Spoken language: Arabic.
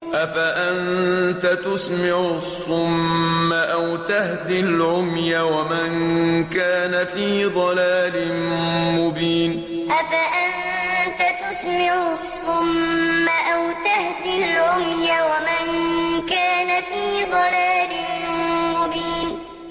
أَفَأَنتَ تُسْمِعُ الصُّمَّ أَوْ تَهْدِي الْعُمْيَ وَمَن كَانَ فِي ضَلَالٍ مُّبِينٍ أَفَأَنتَ تُسْمِعُ الصُّمَّ أَوْ تَهْدِي الْعُمْيَ وَمَن كَانَ فِي ضَلَالٍ مُّبِينٍ